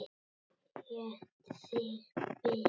Heitt þig bið!